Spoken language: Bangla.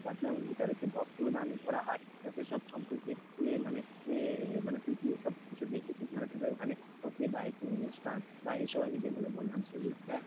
তারপরে এমনকি তাদেরকে বস্ত্রদানও করা হয়, সেসব সম্পর্কে এর মানে এর মানে তুই কী এসব কিছু দেখেছিস, মানে তোদের ওখানে হতে বা কোন অনুষ্ঠান বা এই সব আমি যে গুলো বললাম সেগুলো,